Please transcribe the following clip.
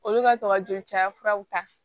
Olu ka tɔ ka joli cayaraw ta